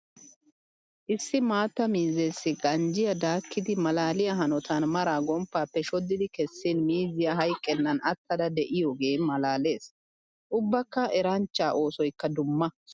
Issi maata miizzessi ganjjiya daakiddi malaaliya hanotan maraa gomppappe shodiddi kessin miizziya hayqqenan attadda de'iyooge malaales. Ubbakka eranchcha oosoykka dumma.